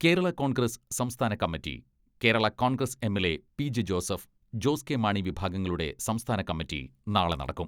കേരള കോൺഗ്രസ്സ് സംസ്ഥാന കമ്മിറ്റി, കേരളാ കോൺഗ്രസ് എമ്മിലെ പി.ജെ ജോസഫ്, ജോസ് കെ മാണി വിഭാഗങ്ങളുടെ സംസ്ഥാന കമ്മിറ്റി നാളെ നടക്കും.